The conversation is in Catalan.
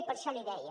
i per això li deia